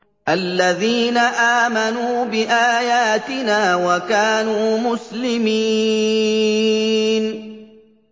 الَّذِينَ آمَنُوا بِآيَاتِنَا وَكَانُوا مُسْلِمِينَ